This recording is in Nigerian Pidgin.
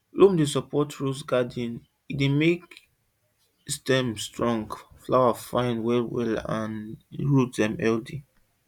loam dey support rose garden e dey make stem strong flower fine well well and root dem healthy